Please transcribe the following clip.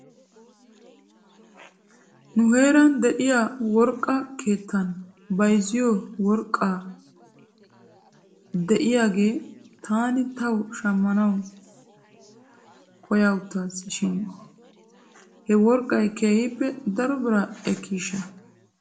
Nu heeran de'iyaa worqqa keettan bayzziyoo worqqa de'iyaaggaa taani taw shammanaw koyawttaasi shin he worqqay keehippe daro biraa ekkishsha ?